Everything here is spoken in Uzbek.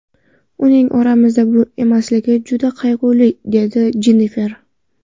Uning oramizda emasligi juda qayg‘uli”, deydi Jennifer.